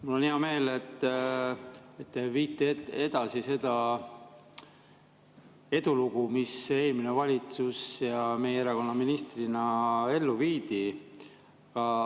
Mul on hea meel, et te viite edasi seda edulugu, mida eelmine valitsus ja meie erakonna minister ellu viisid.